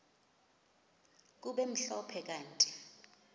kube mhlophe kanti